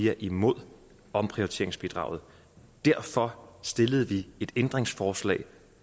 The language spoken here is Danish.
er imod omprioriteringsbidraget derfor stillede vi et ændringsforslag